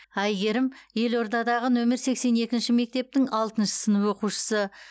әйгерім елордадағы нөмір сексен екінші мектептің алтыншы сынып оқушысы